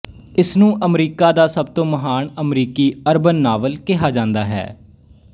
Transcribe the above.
ਇਸਨੂੰ ਅਮਰੀਕਾ ਦਾ ਸਭ ਤੋਂ ਮਹਾਨ ਅਮਰੀਕੀ ਅਰਬਨ ਨਾਵਲ ਕਿਹਾ ਜਾਂਦਾ ਹੈ